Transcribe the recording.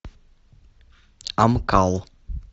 амкал